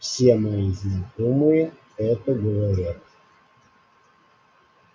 все мои знакомые это говорят